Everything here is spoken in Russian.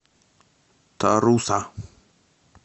таруса